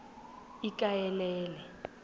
ikaelele